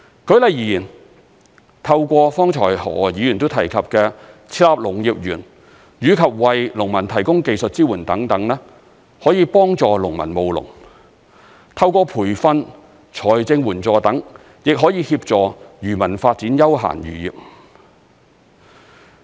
舉例而言，透過剛才何議員都提及的設立農業園，以及為農民提供技術支援等，可以幫助農民務農；透過培訓、財政援助等，亦可以協助漁民發展休閒漁業。